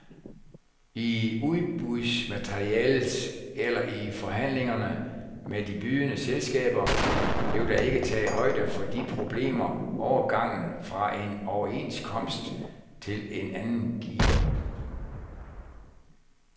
I udbudsmaterialet eller i forhandlingerne med de bydende selskaber blev der ikke taget højde for de problemer, overgangen fra en overenskomst til en anden giver.